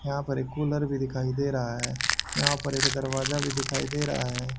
यहां पर एक कूलर भी दिखाई दे रहा है यहां पर एक दरवाजा भी दिखाई दे रहा है।